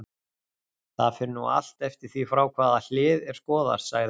Það fer nú allt eftir því frá hvaða hlið er skoðað, sagði hann.